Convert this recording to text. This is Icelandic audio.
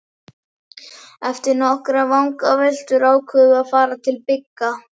Eftir nokkrar vangaveltur ákváðum við að fara til Bigga.